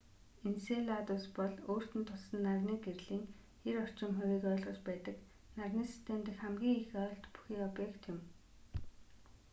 энселадус бол өөрт нь туссан нарны гэрлийн 90 орчим хувийг ойлгож байдаг нарны систем дэх хамгийн их ойлт бүхий объект юм